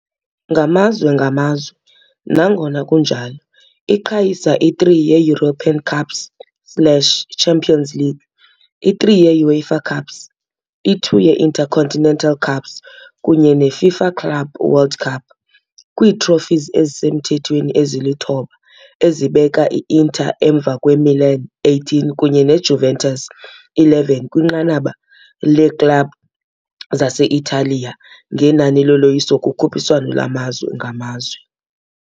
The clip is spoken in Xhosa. Ngamazwe ngamazwe, nangona kunjalo, iqhayisa i-3 ye-European Cups slash iChampions League, i-3 ye-UEFA Cups, i-2 ye -Intercontinental Cups kunye ne- FIFA Club World Cup, kwii-trophies ezisemthethweni ezi-9 ezibeka i-Inter emva kwe-Milan, 18, kunye ne-Juventus, 11, kwinqanaba. yeeklabhu zase-Italiya ngenani loloyiso kukhuphiswano lwamazwe ngamazwe.